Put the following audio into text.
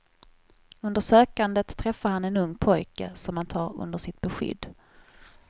Under sökandet träffar han en ung pojke som han tar under sitt beskydd.